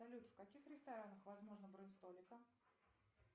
салют в каких ресторанах возможно бронь столика